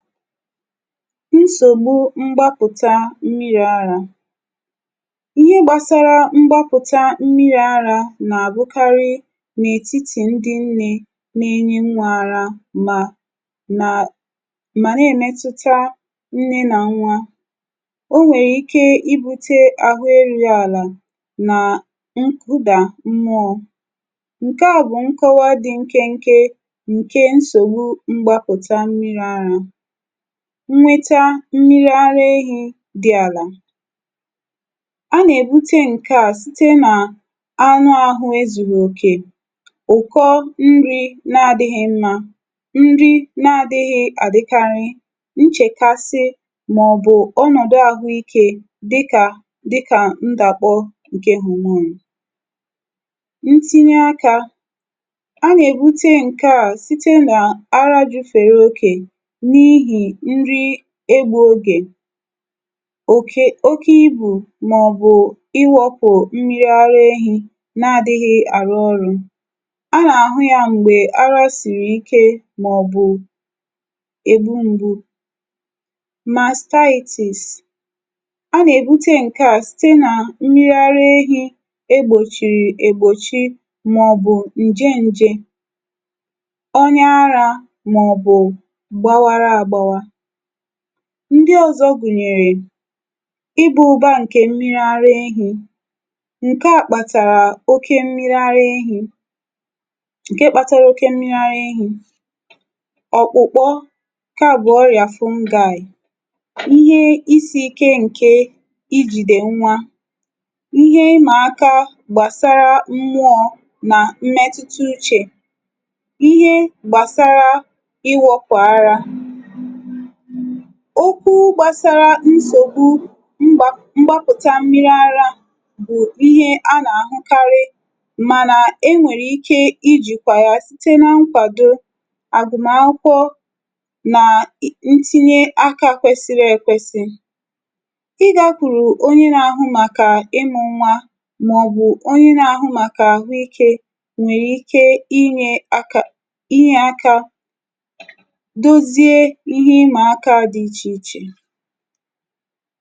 Nsògbu mgbapụ̀ta mmiri̇ ara: ihe gbàsara mgbapụ̀ta mmiri̇ ara nà-àbụkarị n’ètitì ndị ǹnė nà-ėnyi nwȧ ara, mà, nà, mà èmetuta ǹnė nà nwà. O nwèrè ike ibute àhụ erughị àlà nà ǹkụdà mmụọ. Ṅke à bụ̀ nkọwa dị nkenke ǹke nsògbu mgbapụ̀ta mmiri̇ arȧ. Nnweta mmiri ara ehi̇ dị àlà; a nà-èbute ǹke a site n’anụ ȧhụ̇ ezùrù òkè, ụ̀kọ nri na-adịghị̇ mmȧ, nri na-adịghị̇ àdịkarị, nchèkasi mà ọ̀bụ̀ ọnọ̀dụ̀ àhụikė dịkà dịkà ndàbọ ǹke hormone. Ntinye akȧ; a nà-èbute ǹkè a site nà arȧ ju̇fèrè okè n'ihe nri egbughị oge, oke oke ibu mà ọ̀bù iwȧpù mmiri ara ehi̇ na-adịghị àrụ ọrụ̇. A na-àhụ yȧ m̀gbè arȧ sị̀rị̀ ike mà ọ̀ bù ebu ṁgbu̇. Mastitis; a nà-èbute ǹkaȧ site nà mmiri ara ehi̇ egbòchìrì ègbòchi mà ọ̀ bù ǹje ǹjė, onya ara mà ọ̀ bù gbawara agbawa. Ndị ọ̀zọ gụ̀nyèrè: ịbȧ ụ̀ba ǹkè mmiri ara ehì; ǹke à kpàtàrà oke mmiri ara ehi, ǹke kpȧtara oke mmiri ara ehi, Ọkpụ̀kpọ: ǹke à bụ̀ ọrị̀à fungal, ihe isi̇ ike ǹke ijìdè nwa, ihe ịmà aka gbàsara mmụọ̇ nà mmetụta uchè. Ịhe gbàsara iwọ̇pù ara. Okwu gbàsara nsògbu mgba mgbapụ̀ta mmiri ara bụ̀ ihe a nà-àhụkarị, mànà e nwèrè ike ijìkwà ya site na nkwàdo àgwụma akwụkwọ na ntinye aka kwesiri èkwesi. Ịgȧkwùrù onye na-àhụ màkà ịmụ̇ nwa mà ọ bụ̀ onye na-àhụ màkà àhụikė nwèrè ike inye aka inye aka dozie ihe ima akà a dị ichè ichè.